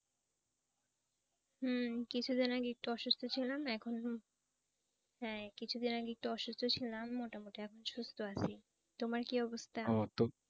হুঁ কিছুদিন আগে একটু অসুস্থ ছিলাম এখন হ্যাঁ কিছুদিন আগে একটু অসুস্থ ছিলাম মোটামুটি এখন সুস্থ আছি। তোমার কি অবস্থা?